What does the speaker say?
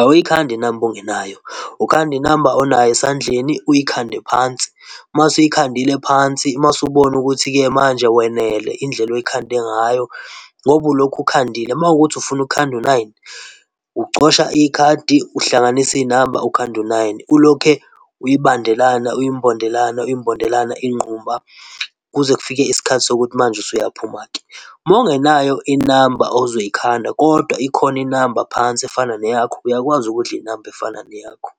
Awuyikhandi inamba ongenayo, ukhanda inamba onayo esandleni uyikhande phansi. Masuyikhandile phansi, mase ubona ukuthi-ke manje wenele indlela oyikhande ngayo, ngoba ulokhu khandile. Makuwukuthi ufuna ukukhanda u-nine, ucosha ikhadi, uhlanganise izinamba ukhande u-nine. Ulokhe uyibandelana, uyimbondelana, uyimbondelana ingqumba kuze kufike isikhathi sokuthi manje usuyaphuma-ke. Mawungenayo inamba ozoyikhanda kodwa ikhona inamba phansi efana neyakho, uyakwazi ukudla inamba efana neyakho.